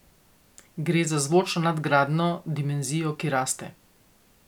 Gre za zvočno nadgrajeno dimenzijo, ki raste.